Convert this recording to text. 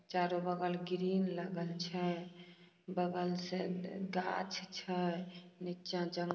चारों बगल ग्रील लगल छै बगल से गग गाछ छै नीचा--